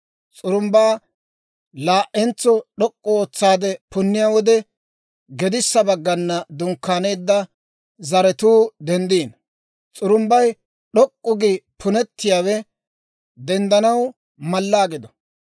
S'urumbbaa laa"entso d'ok'k'u ootsaade punniyaa wode, gedissa baggana dunkkaaneedda zaratuu denddino. S'urumbbay d'ok'k'u gi punettiyaawe denddanaw mallaa gido.